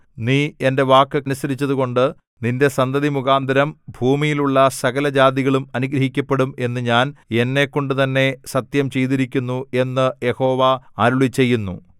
നീ എന്റെ വാക്ക് അനുസരിച്ചതുകൊണ്ട് നിന്റെ സന്തതി മുഖാന്തരം ഭൂമിയിലുള്ള സകലജാതികളും അനുഗ്രഹിക്കപ്പെടും എന്നു ഞാൻ എന്നെക്കൊണ്ടുതന്നെ സത്യം ചെയ്തിരിക്കുന്നു എന്ന് യഹോവ അരുളിച്ചെയ്യുന്നു